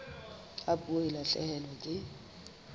ha puo e lahlehelwa ke